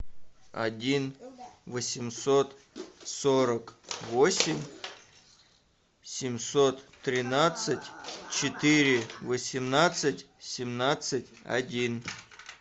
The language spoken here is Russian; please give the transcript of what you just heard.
один восемьсот сорок восемь семьсот тринадцать четыре восемнадцать семнадцать один